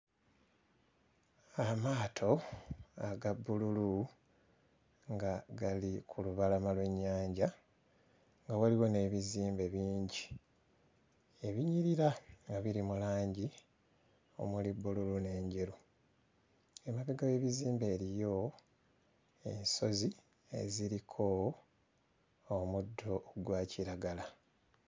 Amaato aga bbululu nga gali ku lubalama lw'ennyanja nga waliwo n'ebizimbe bingi ebinyirira nga biri mu langi omuli bbululu n'enjeru. Emabega w'ebizimbe eriyo ensozi eziriko omuddo gwa kiragala.